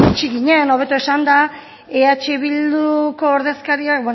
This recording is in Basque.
iritsi ginen hobeto esanda eh bilduko ordezkariak